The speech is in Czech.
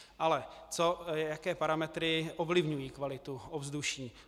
Ale jaké parametry ovlivňují kvalitu ovzduší?